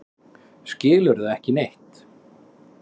Skilurðu ekki neitt?